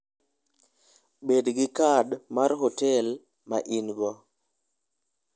Bed gi kad mar hotel ma in-go.